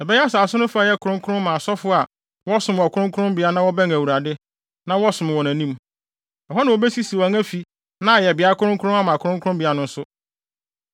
Ɛbɛyɛ asase no fa a ɛyɛ kronkron ma asɔfo a wɔsom wɔ kronkronbea na wɔbɛn Awurade, na wɔsom wɔ nʼanim. Ɛhɔ na wobesisi wɔn afi na ayɛ beae kronkron ama kronkronbea no nso.